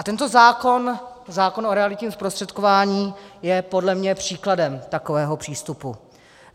A tento zákon, zákon o realitním zprostředkování, je podle mě příkladem takového přístupu.